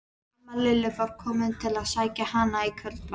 Amma Lillu var komin til að sækja hana í kvöldmat.